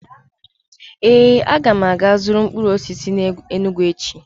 Ee, m ga-aga ịzụrụ mkpụrụ osisi n'Enugwu echi.